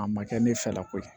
A ma kɛ ne fɛla ko ye